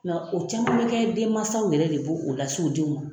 o caman bɛ kɛ denmansaw yɛrɛ de b' o lase u denw ma.